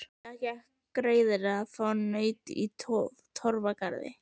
Það gekk greiðlega að fá naut í Torfgarði.